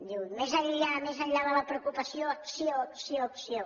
diu més enllà més enllà de la preocupa·ció acció acció acció